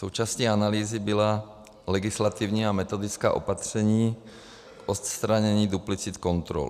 Součástí analýzy byla legislativní a metodická opatření k odstranění duplicit kontrol.